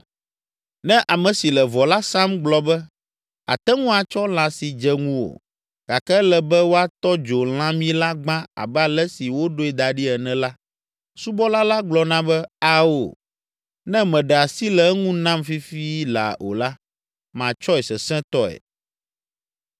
Ne ame si le vɔ la sam gblɔ be, “Àte ŋu atsɔ lã si dze ŋuwò, gake ele be woatɔ dzo lãmi la gbã abe ale si woɖoe da ɖi ene” la, subɔla la gblɔna be, “Ao, ne mèɖe asi le eŋu nam fifi laa o la, matsɔe sesẽtɔe!”